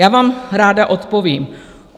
Já vám ráda odpovím.